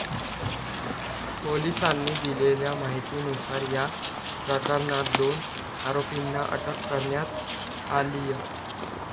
पोलिसांनी दिलेल्या माहितीनुसार, या प्रकरणात दोन आरोपींना अटक करण्यात आलीय.